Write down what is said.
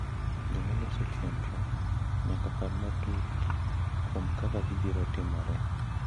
Joma loso chenro nyaka par matut kuom kama gibiro timoree,